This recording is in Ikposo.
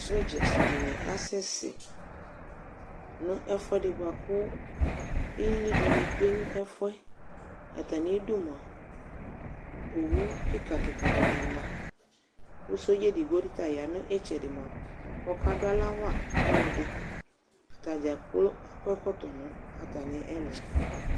Sɔɖzatsɩ dɩŋɩ asɛsɛ ŋʊ ɛfʊɛdɩ ɓʊaƙʊ ɩlɩ dɩŋɩ tsʊe nʊ ɛfʊɛ Ata mɩ ɩdʊ mʊa owʊ ƙɩka ƙɩka dɩŋɩ ma ƙʊ sɔɖza edigbo ta ya ŋʊ ɩtsɛdɩ mʊa ƙɔƙa dʊ awla wa ɔlɔdɩ Atadzaƙplo aƙɔ ɛƙɔtɔ ŋʊ atamɩ ɛlʊ ƴɛ